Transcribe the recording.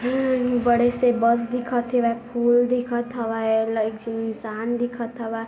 हम्म्म बड़े से बस दिखत हेवय फूल दिखत हवय लग झी इन्शान दिखत हवय।